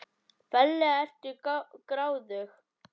Ferlega ertu gráðug!